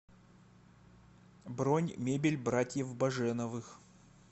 бронь мебель братьев баженовых